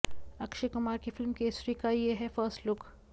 अक्षय कुमार की फिल्म केसरी का यह है फर्स्ट लुक